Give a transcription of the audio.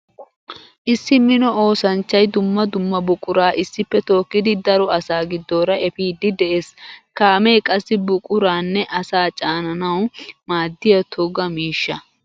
Issi mino oosanchchay dumma dumma buqura issippe tookkiddi daro asaa gidoora efiide de'ees. Kaame qassi buquranne asaa caananawu maadiya toga miishsha.